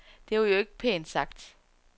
Det var jo ikke pænt sagt.